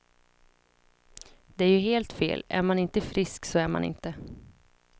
Det är ju helt fel, är man inte frisk så är man inte.